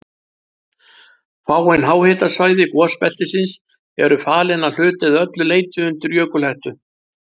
Fáein háhitasvæði gosbeltisins eru falin að hluta eða öllu leyti undir jökulhettu.